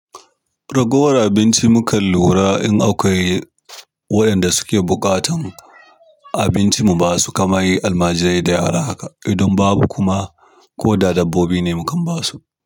Ragowar abinci mukan lura in akwai waɗanda suke buƙatar abincin mu ba su kamar yi almajirai da yara haka. Idan babu kuma ko da dabbobi ne mukan basu.